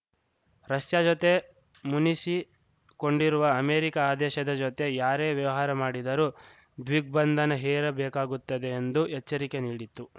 Russia ಜತೆ ಮುನಿಸಿಕೊಂಡಿರುವ America ಆ ದೇಶದ ಜತೆ ಯಾರೇ ವ್ಯವಹಾರ ಮಾಡಿದರೂ ದಿಗ್ಬಂಧನ ಹೇರಬೇಕಾಗುತ್ತದೆ ಎಂದು ಎಚ್ಚರಿಕೆ ನೀಡಿತ್ತು